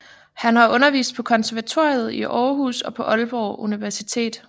Han har undervist på konservatoriet i Aarhus og på Aalborg Universitet